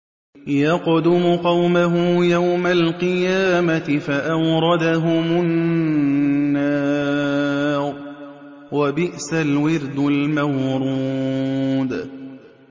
يَقْدُمُ قَوْمَهُ يَوْمَ الْقِيَامَةِ فَأَوْرَدَهُمُ النَّارَ ۖ وَبِئْسَ الْوِرْدُ الْمَوْرُودُ